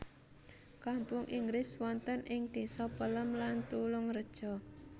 Kampung Inggris wonten ing désa Pelem lan Tulungreja